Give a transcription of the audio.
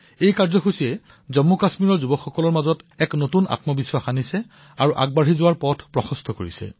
এই কাৰ্যসূচীয়ে জম্মুকাশ্মীৰৰ যুৱচামৰ মাজত এক নতুন আত্মবিশ্বাসৰ সৃষ্টি কৰিছে আৰু জীৱনত আগবাঢ়ি যোৱাৰ এক পথো প্ৰদৰ্শিত কৰিছে